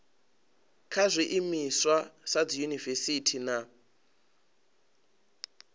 kha zwiimiswa sa dziyunivesiti na